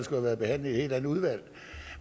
have været behandlet i et helt andet udvalg